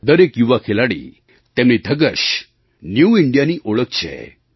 દરેક યુવા ખેલાડી તેમની ધગશ ન્યૂ Indiaની ઓળખ છે